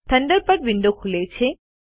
Thunderbird window ખૂલે છે